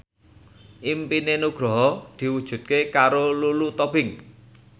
impine Nugroho diwujudke karo Lulu Tobing